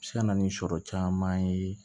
Se ka na ni sɔrɔ caman ye